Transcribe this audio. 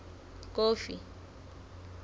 kofi